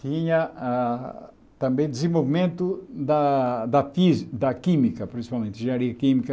Tinha ah também desenvolvimento da da fí da química, principalmente, engenharia química.